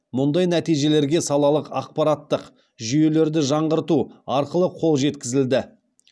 мұндай нәтижелерге салалық ақпараттық жүйелелерді жаңғырту арқылы қол жеткізілді